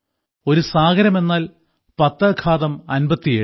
ഒരു സാഗരം എന്നാൽ പത്ത് ഘാതം അൻപത്തിയേഴ്